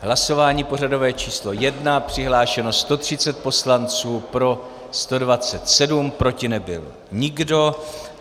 Hlasování pořadové číslo 1: přihlášeno 130 poslanců, pro 127, proti nebyl nikdo.